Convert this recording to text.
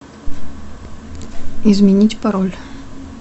изменить пароль